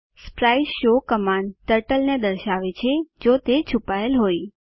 sprite show command turtle ને દર્શાવે છે જો તે છુપાયેલ હોય